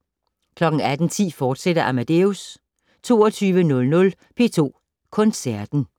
18:10: Amadeus, fortsat 22:00: P2 Koncerten